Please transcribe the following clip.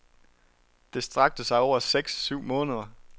Det strakte sig over seks syv måneder.